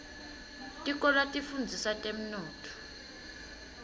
tikolwa tifundzisa temnotfo